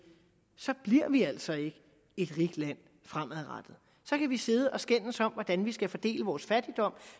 så bliver vi altså ikke et rigt land fremadrettet så kan vi sidde og skændes om hvordan vi skal fordele vores fattigdom